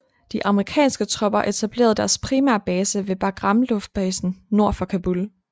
De amerikanske tropper etablerede deres primære base ved Bagram luftbasen nord for Kabul